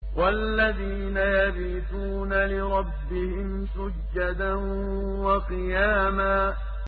وَالَّذِينَ يَبِيتُونَ لِرَبِّهِمْ سُجَّدًا وَقِيَامًا وَالَّذِينَ يَبِيتُونَ لِرَبِّهِمْ سُجَّدًا وَقِيَامًا